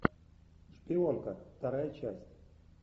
шпионка вторая часть